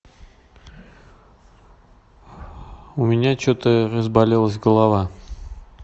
у меня что то разболелась голова